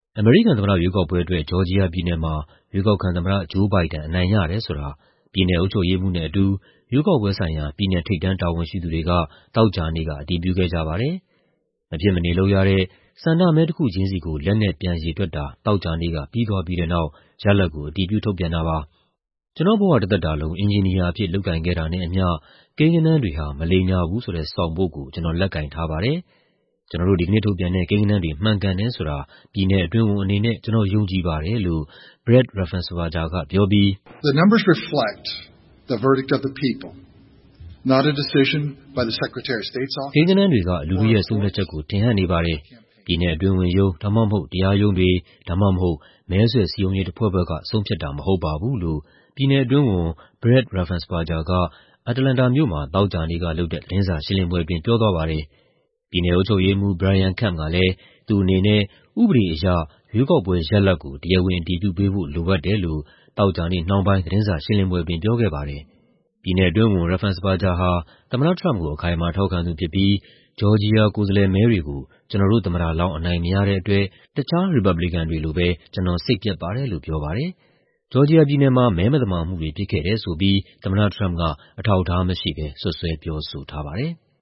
အမေရိကန်သမ္မတရွေးကောက်ပွဲအတွက် ဂျော်ဂျီယာပြည်နယ်မှာ ရွေးကောက်ခံ သမ္မတ Joe Biden အနိုင်ရတယ်ဆိုတာ ပြည်နယ်အုပ်ချုပ်ရေးမှူးနဲ့အတူ ရွေးကောက်ပွဲဆိုင်ရာ ပြည်နယ် ထိပ်တန်းတာဝန်ရှိသူတွေက သောကြာနေ့က အတည်ပြုခဲ့ကြပါတယ်။ မဖြစ်မနေလုပ်ရတဲ့ ဆန္ဒမဲတခုချင်းစီကို လက်နဲ့ပြန်ရေတွက်တာ သောကြာနေ့က ပြီးသွားပြီးတဲ့နောက် ရလဒ်ကို အတည်ပြု ထုတ်ပြန်တာပါ။ ကျနော့်ဘဝတသက်တာလုံး အင်ဂျင်နီယာအဖြစ် လုပ်ကိုင်ခဲ့တာနဲ့အမျှ ကိန်းဂဏန်းတွေဟာ မလိမ်ညာဘူးဆိုတဲ့ ဆောင်ပုဒ်ကို ကျနော်လက်ကိုင်ထားပါတယ်။ ကျနော်တို့ ဒီကနေ့ထုတ်ပြန်တဲ့ ကိန်းဂဏန်းတွေ မှန်ကန်တယ်ဆိုတာ ပြည်နယ်အတွင်းဝန်အနေနဲ့ ကျနော်ယုံကြည်ပါတယ်လို့ Brad Raffensperger ကပြောပြီး... "ကိန်းဂဏန်းတွေဟာ လူထုရဲ့ ဆုံးဖြတ်ချက်ကို ထင်ဟပ်နေပါတယ်။ ပြည်နယ်အတွင်းဝန်ရုံး ဒါမှမဟုတ် တရားရုံးတွေ ဒါမှမဟုတ် မဲဆွယ်စည်းရုံးရေး တဖွဲ့ဖွဲ့က ဆုံးဖြတ်တာမဟုတ်ပါဘူး" လို့ ပြည်နယ်အတွင်းဝန် Brad Raffensperger က အတ္တလန္တာမြို့မှာ သောကြာနေ့ကလုပ်တဲ့ သတင်းစာရှင်းလင်းပွဲအတွင်း ပြောသွားပါတယ်။ ပြည်နယ်အုပ်ချုပ်ရေးမှူး Brian Kemp ကလည်း သူ့အနေနဲ့ ဥပဒေအရ ရွေးကောက်ပွဲရလဒ်ကို တရားဝင် အတည်ပြုပေးဖို့ လိုအပ်တယ်လို့ သောကြာနေ့နှောင်းပိုင်း သတင်းစာရှင်းလင်းပွဲအတွင်း ပြောခဲ့ပါတယ်။ ပြည်နယ်အတွင်းဝန် Raffensperger ဟာ သမ္မတ Trump ကို အခိုင်အမာ ထောက်ခံသူဖြစ်ပြီး "ဂျော်ဂျီယာ ကိုယ်စားလှယ်မဲတွေကို ကျနော်တို့ သမ္မတလောင်း အနိုင်မရတဲ့အတွက် တခြား ရီပတ်ဘလီကန်တွေလိုပဲ ကျနော်စိတ်ပျက်ပါတယ်" လို့ ပြောပါတယ်။ ဂျော်ဂျီယာပြည်နယ်မှာ မဲမသမာမှုတွေ ဖြစ်ခဲ့တယ်ဆိုပြီး သမ္မတ Trump က အထောက်အထားမရှိဘဲ စွပ်စွဲပြောဆိုထားပါတယ်။